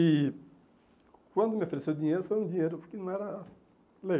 E quando me ofereceu dinheiro, foi um dinheiro que não era